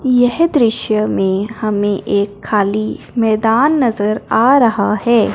यह दृश्य मे हमे एक खाली मैदान नजर आ रहा है।